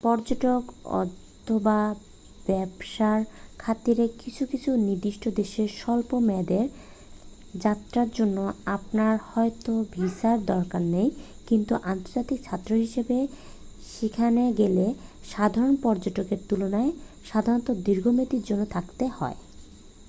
পর্যটক অথবা ব্যবসার খাতিরে কিছু কিছু নির্দিষ্ট দেশে স্বল্প মেয়াদের যাত্রার জন্য আপনার হয়তো ভিসার দরকার নেই কিন্তু আন্তর্জাতিক ছাত্র হিসেবে সেখানে গেলে সাধারণ পর্যটকের তুলনায় সাধারণত দীর্ঘমেয়াদের জন্য থাকতে হয়